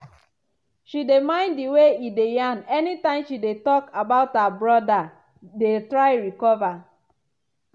she dey mind di way e dey yarn anytime she dey talk about how her brother dey try recover.